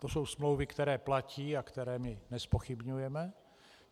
To jsou smlouvy, které platí a které my nezpochybňujeme.